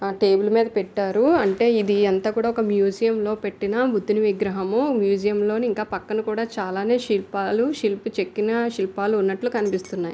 ఆ టేబుల్ మీద పెట్టారు అంటే ఇది అంతా కూడా ఒక మ్యూజియం లో పెట్టిన బుద్దుని విగ్రహము మ్యూజియం లో ఇంకా పక్కన కూడా చాలానే శిల్పాలు శిల్పి చెక్కిన శిల్పాలు ఉన్నట్లు కనిపిస్తున్నాయి.